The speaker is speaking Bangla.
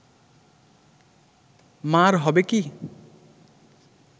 মা’র হবে কি